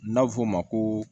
N'a bɛ f'o ma ko